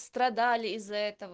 страдали из-за этого